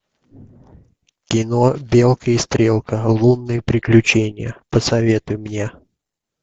кино белка и стрелка лунные приключения посоветуй мне